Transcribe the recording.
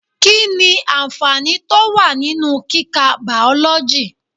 Kí ni àǹfààní tó wà nínú kika Bàọ́lọ́jì?